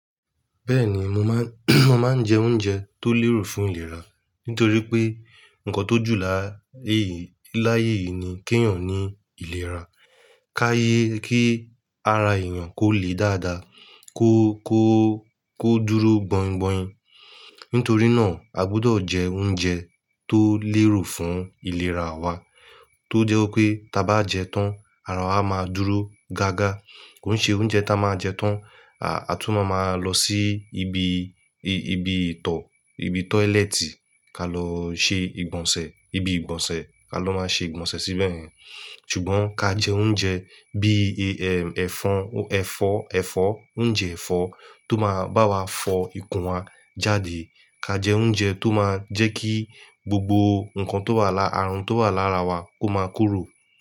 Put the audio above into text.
Bẹ́ẹ̀ni, mo má mo máa ń jẹ oúnjẹ tó lérò fún ìlera. Nítorí pé nǹkan tó jù láyé yìí láyé yìí ni kí ènìyàn ní ìlera. Ká ye kí ara ènìyàn kó le dáadáa, kó kó kó dúró gbọ́ngbọ̀n. Nítorí náà a gbọdọ̀ jẹ oúnjẹ tó lérò fún ìlera wa. Tó jẹ́ pé táa bá jẹ tán, ara á máa dúró gágá. Kò ń ṣe oúnjẹ ta máa jẹ tán, a tún máa lọ sí ibi ibi ìtọ̀ ibi tọ́lẹ́ẹ́tì ka lọ ṣe ìgbọ̀nsẹ̀, ibi ìgbọ̀nsẹ̀ ka lọ máa ṣe ìgbọ̀nsẹ̀ síbẹ̀. Ṣùgbọ́n ká jẹ oúnjẹ bí i ẹ fà ẹ fọ́ ẹ̀fọ́ oúnjẹ ẹ̀fọ́ tó máa bá wa fọ ìkún wa jáde. Ká jẹ oúnjẹ tó máa jẹ́ kí gbogbo nǹkan tó wà lá, ààrùn tó wà lára wa kó máa kúrò.